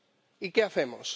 ¿Y qué hacemos?